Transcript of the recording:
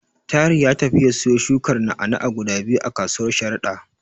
Tahir ya tafi ya siyo shukar na'a-na'a guda biyu a kasuwar Sharada.